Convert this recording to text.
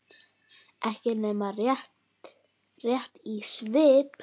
Ekki nema rétt í svip.